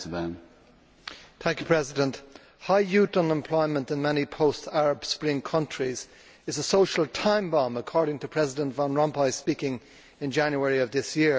Mr President, high youth unemployment in many post Arab Spring countries is a social time bomb, according to President Van Rompuy speaking in January of this year.